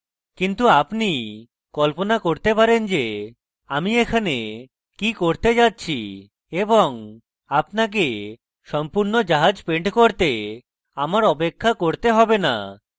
কিন্তু আপনি কল্পনা করতে পারেন যে আমি এখানে কি করতে যাচ্ছি এবং আপনাকে সম্পূর্ণ জাহাজ পেন্ট করতে আমার অপেক্ষা করতে have না